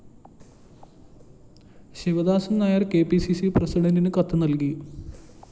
Sivadasan‍ Nair‍ K P C C പ്രസിഡണ്ടിന് കത്ത് നല്‍കി